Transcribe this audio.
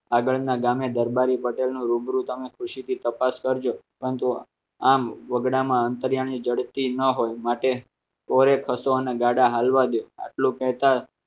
આગળના ગામે દરબારી પટેલ નો રૂબરૂ તમે ખુશીથી તપાસ કરજો પરંતુ આમ વગડામાં અંતરિયાણી જડતી ન હોય માટે હશો અને ગાડા ચાલવા દે આટલું કહેતા